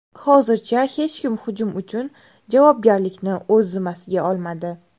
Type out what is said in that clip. Hozircha hech kim hujum uchun javobgarlikni o‘z zimmasiga olmadi.